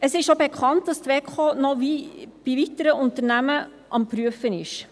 Es ist auch bekannt, dass die WEKO noch weitere Unternehmen am Prüfen ist.